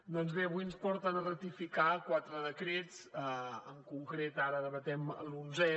doncs bé avui ens porten a ratificar quatre decrets en concret ara debatem l’onzè